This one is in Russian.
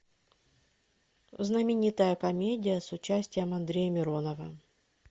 знаменитая комедия с участием андрея миронова